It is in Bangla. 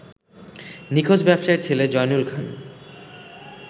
নিখোঁজ ব্যবসায়ীর ছেলে জয়নুল খান